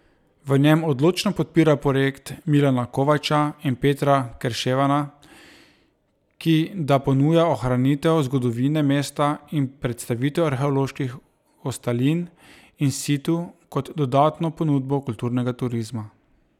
V njem odločno podpira projekt Milana Kovača in Petra Kerševana, ki da ponuja ohranitev zgodovine mesta in predstavitev arheoloških ostalin in situ kot dodatno ponudbo kulturnega turizma.